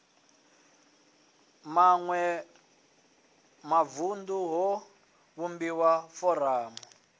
maṋwe mavunḓu ho vhumbiwa foramu